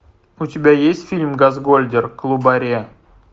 у тебя есть фильм газгольдер клубаре